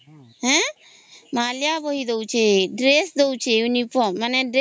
ହେଁ ମାହାଳିଆ ବହି ଦଉଚି ଡ୍ରେସ ଦଉଚି ମାନେ ଇଉନି ଫୋରମ